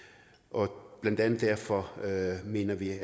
og blandt andet derfor mener det